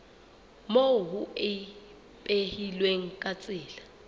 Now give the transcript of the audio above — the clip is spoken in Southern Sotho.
moo ho ipehilweng ka tsela